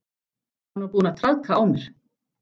Hann var búinn að traðka á mér.